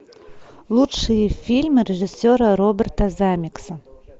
лучшие фильмы режиссера роберта земекиса